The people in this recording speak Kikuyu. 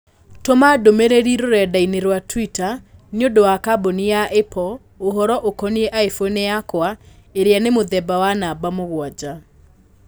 Tũma ndũmĩrĩri rũrenda-inī rũa tũita niũndũ wa kambũni ya Apple ũhoro ũkonĩĩ iphone yakwa ĩria nĩ mũthemba wa namba mũgwanja